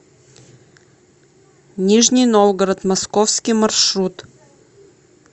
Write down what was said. нижний новгород московский маршрут